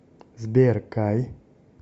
сбер кай